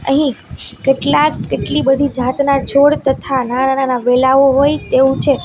અહીં કેટલાક કેટલી બધી જાતના છોડ તથા નાના-નાના વેલાઓ હોય તેવું છે.